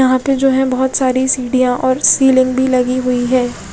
यहाँ पे जो है बोहोत सारी सिडिया और सिलींग भी लगी हुयी है।